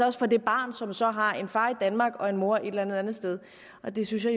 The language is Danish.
også for det barn som så har en far i danmark og en mor et eller andet andet sted det synes jeg